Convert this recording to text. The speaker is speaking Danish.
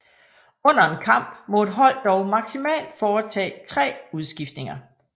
Under en kamp må et hold dog maksimalt foretage 3 udskiftninger